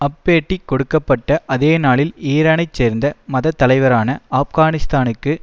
அப்பேட்டி கொடுக்க பட்ட அதேநாளில் ஈரானை சேர்ந்த மதத்தலைவரான ஆப்கானிஸ்தானுக்கு